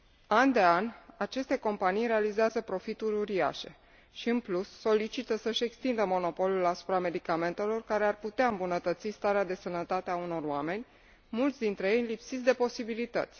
An de an, aceste companii realizează profituri uriașe și, în plus, solicită să și extindă monopolul asupra medicamentelor care ar putea îmbunătăți starea de sănătate a unor oameni, mulți dintre ei lipsiți de posibilități.